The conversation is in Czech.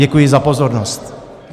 Děkuji za pozornost.